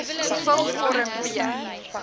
vul vorm b